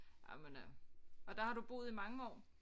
Jamen øh og der har du boet i mange år